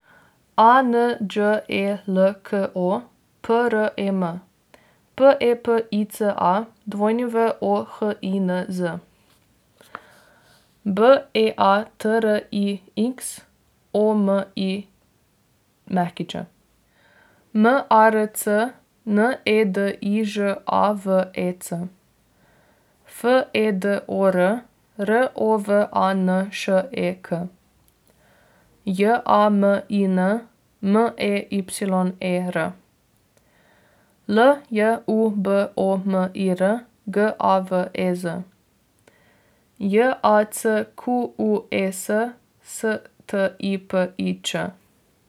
A N Đ E L K O, P R E M; P E P I C A, W O H I N Z; B E A T R I X, O M I Ć; M A R C, N E D I Ž A V E C; F E D O R, R O V A N Š E K; J A M I N, M E Y E R; L J U B O M I R, G A V E Z; J A C Q U E S, S T I P I Č.